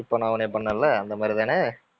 இப்ப நான் உன்னைய பண்ணேன்ல அந்த மாதிரி தானே?